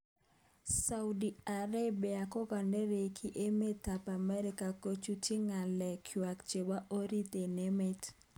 Saudi Arabia kokanerekyi emet ab Amerika kochutyi ngalek kwaak chebo orit eng emet